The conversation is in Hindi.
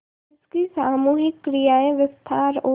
जिसकी सामूहिक क्रियाएँ विस्तार और